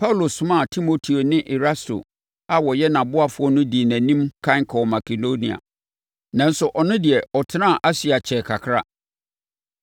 Paulo somaa Timoteo ne Erasto a wɔyɛ nʼaboafoɔ no dii nʼanim ɛkan kɔɔ Makedonia, nanso ɔno de, ɔtenaa Asia kyɛɛ kakra.